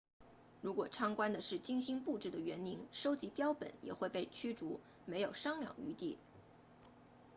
如果参观的是精心布置的园林收集标本也会被驱逐没有商量余地